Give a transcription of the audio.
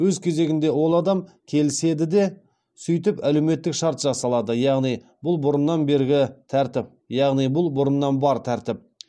өз кезегінде ол адам келіседі де сөйтіп әлеуметтік шарт жасалады яғни бұл бұрыннан бергі тәртіп яғни бұл бұрыннан бар тәртіп